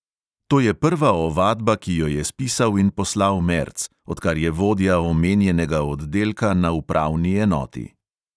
To je prva ovadba, ki jo je spisal in poslal merc, odkar je vodja omenjenega oddelka na upravni enoti.